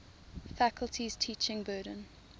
faculty's teaching burden